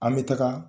An bɛ taga